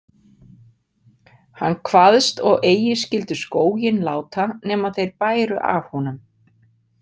Hann kvaðst og eigi skyldu skóginn láta nema þeir bæru af honum.